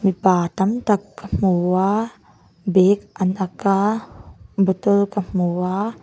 mipa tâmtak ka hmu a bag an ak a bottle ka hmu a--